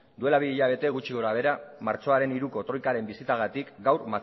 duela bi hilabete gutxi gora behera martxoaren hiruko troikaren bisitagatik gaur